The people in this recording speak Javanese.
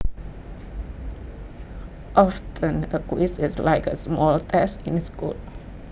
Often a quiz is like a small test in school